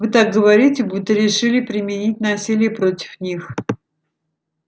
вы так говорите будто решили применить насилие против них